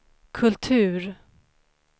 kultur